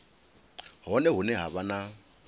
hone hune ha vha na